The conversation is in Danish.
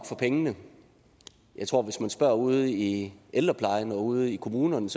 for pengene jeg tror at hvis man spørger ude i ældreplejen og ude i kommunerne